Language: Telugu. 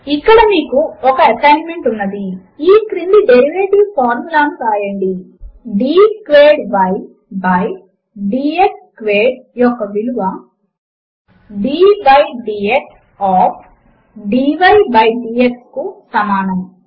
ఇక్కడ మీకు ఒక ఎసైన్మెంట్ ఉన్నది ఈ క్రింది డేరివేటివ్ ఫార్ములాను వ్రాయండి d squared y by d x squared యొక్క విలువ d బై డీఎక్స్ ఆఫ్ కు సమానము